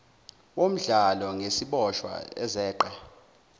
womdlalo ngeziboshwa ezeqe